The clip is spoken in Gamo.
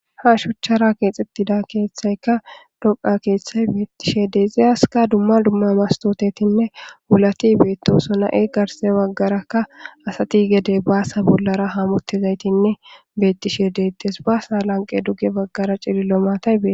Ha shochchara keexidtida keeththaykka doqa keeththay beettishe deexiyaska dumma dumma mastotetinne wulati beettoso na7e garse baggarakka asati gede baasa bollara hamottizaytinne beettishe deettes baasa lanqe dugge baggara cilillo maatay bee.